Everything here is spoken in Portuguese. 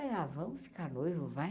Ah, vamos ficar noivo, vai.